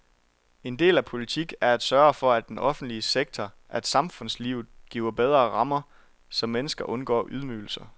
En del af politik er at sørge for, at den offentlige sektor, at samfundslivet giver bedre rammer, så mennesker undgår ydmygelser.